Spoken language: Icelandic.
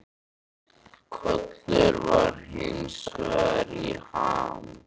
Kollur var hins vegar í ham.